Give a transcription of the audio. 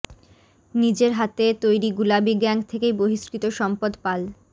নিজের হাতে তৈরি গুলাবি গ্যাংগ থেকেই বহিষ্কৃত সম্পদ পাল